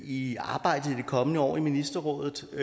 i arbejdet i det kommende år i nordisk ministerråd og